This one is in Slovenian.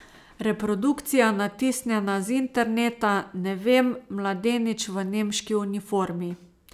Reprodukcija, natisnjena z interneta, ne vem, mladenič v nemški uniformi.